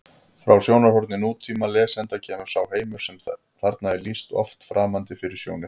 Frá sjónarhorni nútímalesanda kemur sá heimur sem þarna er lýst oft framandi fyrir sjónir: